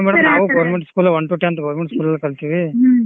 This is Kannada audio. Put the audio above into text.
ಹಾ ಮತ್ ನಾವು government school one to tenth government school ಲಲ್ಲೆ ಕಲ್ತಿವಿ